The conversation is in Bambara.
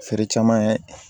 Feere caman ye